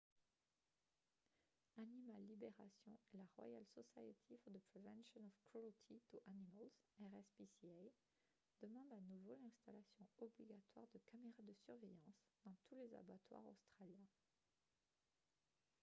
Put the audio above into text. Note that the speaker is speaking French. animal liberation et la royal society for the prevention of cruelty to animals rspca demandent à nouveau l’installation obligatoire de caméras de surveillance dans tous les abattoirs australiens